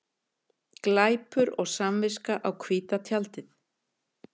Glæpur og samviska á hvíta tjaldið